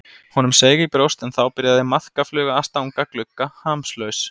Honum seig í brjóst en þá byrjaði maðkafluga að stanga glugga, hamslaus.